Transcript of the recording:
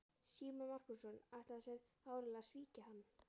Símon Markússon ætlaði sér áreiðanlega að svíkja hann.